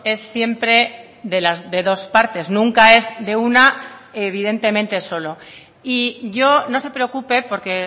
es siempre de dos partes nunca es de una ni evidentemente solo y yo no se preocupe porque